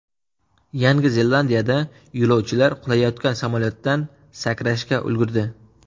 Yangi Zelandiyada yo‘lovchilar qulayotgan samolyotdan sakrashga ulgurdi.